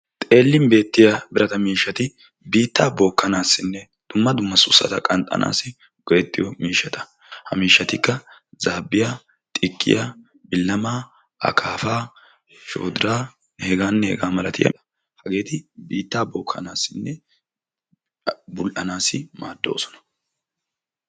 Xeelin beettiya birata miishshati biitta bokanassinne dumma dumma sussata qanxxanassi go'etiyo miishshata zaabbiya, xikkiya, bilamaa, shoddira, akaapa, heganne hegaa malatiyaaba hageeti biitta bookkanasinne bul''anassi maaddoosona.